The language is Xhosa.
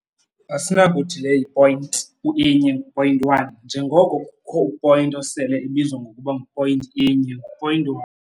Asinakuthi le yi-point u-inye, ngu-point one, njengoko kukho u-point osele ebizwa ngokuba ngu-point inye, ngu-point one.